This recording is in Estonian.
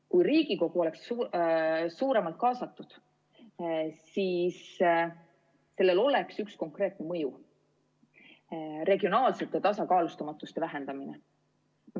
Kui Riigikogu oleks suuremalt kaasatud, siis sellel oleks üks konkreetne mõju: regionaalse tasakaalustamatuse vähendamine.